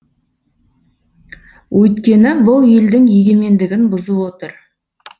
өйткені бұл елдің егемендігін бұзып отыр